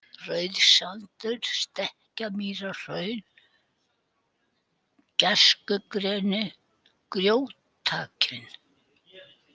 Rauðsdalur, Stekkamýrarhraun, Gæskugreni, Grjótakinn